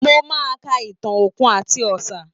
Mo máa ka ìtàn Òkun àti Ọ̀sà